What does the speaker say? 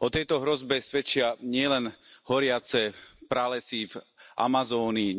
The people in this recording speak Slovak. O tejto hrozbe svedčia nielen nedávno horiace pralesy v Amazónii